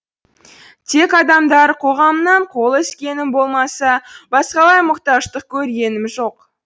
тек адамдар қоғамынан қол үзгенім болмаса басқалай мұқтаждық көргенім жоқ